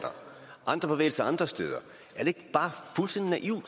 andre bevægelser andre steder